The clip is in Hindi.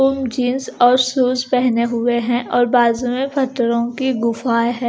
जींस और शूज पहने हुए हैं और बाजू में फ़त्तरो की गुफा है।